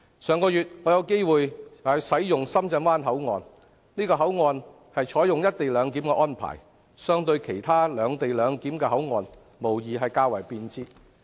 上月我有機會使用深圳灣口岸，這個口岸採用了"一地兩檢"的安排，相對其他"兩地兩檢"的口岸，無疑較為便捷。